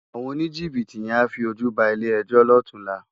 Awòn ónijibiti yèn á fi ójú bá ilé èjò lòtúnlá